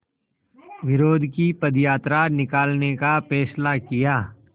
विरोध की पदयात्रा निकालने का फ़ैसला किया